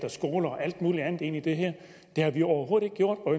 skoler og alt muligt andet ind i det her det har vi overhovedet ikke gjort og